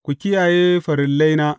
Ku kiyaye farillaina.